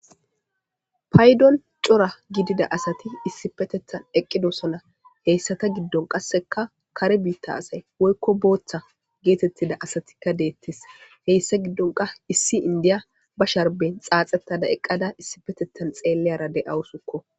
paydon cora gidida asati issi petethan eqqidosana heyssata giddon qasseka kare biitta asay woykko booththa geetettida asatikka deettes heyssa giddonka issi indiya ba sharben xaaxettada eqqada issipetethan xeelleyara de7awusukko